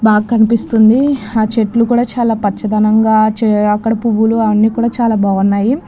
బాగా కనిపిస్తోంది ఆ చుట్టూ చెట్లు కూడా చాలా పచ్చదనంగా చపర పువ్వులు అవి అన్నీ కూడా చాలా బాగున్నాయి.